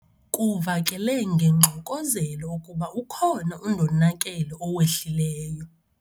Kuvakele ngengxokozelo ukuba ukhona undonakele owehlileyo.